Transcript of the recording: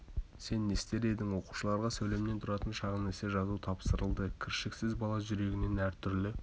сен не істер едің оқушыларға сөйлемнен тұратын шағын эссе жазу тапсырылды кіршіксіз бала жүрегінен әр түрлі